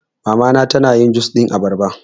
Mama na ta na yin jus ɗin abarba